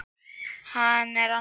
Hann er annað